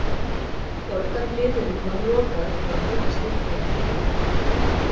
Borgarhliðunum var lokað til að fólk slyppi ekki út.